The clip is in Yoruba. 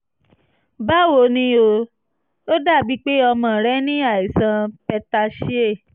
báwo ni o? ó dàbíi pé ọmọ rẹ ní àìsàn petechiae